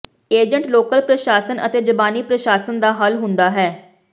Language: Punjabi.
ਏਜੰਟ ਲੋਕਲ ਪ੍ਰਸ਼ਾਸਨ ਅਤੇ ਜ਼ਬਾਨੀ ਪ੍ਰਸ਼ਾਸਨ ਦਾ ਹੱਲ ਹੁੰਦਾ ਹੈ